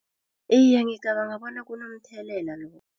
Iye, ngicabanga bona kunothelela